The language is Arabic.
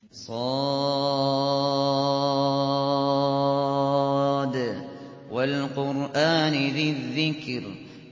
ص ۚ وَالْقُرْآنِ ذِي الذِّكْرِ